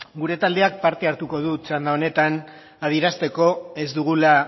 gure taldeak parte hartuko du txanda honetan adierazteko ez dugula